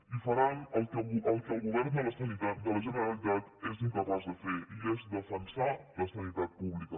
i faran el que el govern de la generalitat és incapaç de fer i és defensar la sanitat pública